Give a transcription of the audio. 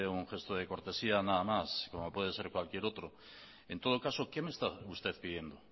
un gesto de cortesía nada más como puede ser cualquier otro en todo caso qué me está usted pidiendo